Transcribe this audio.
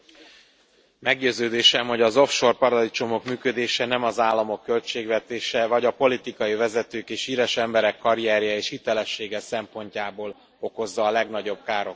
Elnök Asszony! Meggyőződésem, hogy az off shore paradicsomok működése nem az államok költségvetése, vagy a politikai vezetők és híres emberek karrierje és hitelessége szempontjából okozza a legnagyobb károkat.